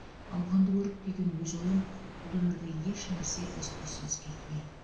ауғанды көріп түйген өз ойым бұл өмірде ешнәрсе із түзсіз кетпеиді